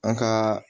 An ka